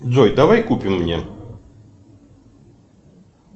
джой давай купим мне